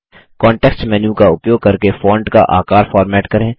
context menu का उपयोग करके फॉन्ट का आकार फॉर्मेट करें